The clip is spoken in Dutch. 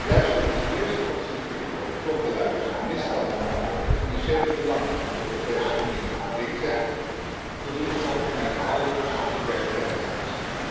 Juist door onze eerst te concentreren op klokkenluiders die misstanden melden waarbij de financiële belangen van de Europese Unie in het geding zijn, voldoen we volgens mij aan alle subsidiariteitseisen.